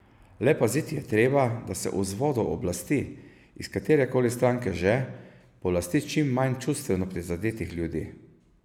Le paziti je treba, da se vzvodov oblasti, iz katere koli stranke že, polasti čim manj čustveno prizadetih ljudi.